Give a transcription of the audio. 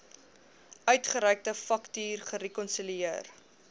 uitgereikte faktuur gerekonsilieer